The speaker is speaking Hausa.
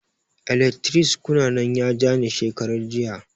Eletris kuka nan ya ja ni shekarar jiya